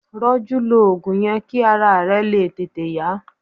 Roju lo ogun yen ki ara re le tete ya.